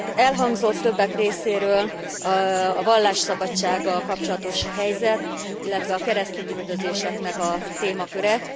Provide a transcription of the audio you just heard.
Elhangzott többek részéről a vallásszabadsággal kapcsolatos helyzet, illetve a keresztényüldözéseknek a témaköre.